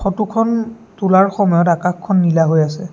ফটোখন তোলাৰ সময়ত আকাশখন নীলা হৈ আছে।